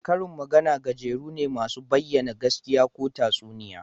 Karin magana gajeru ne masu bayyana gaskiya ko tatsuniya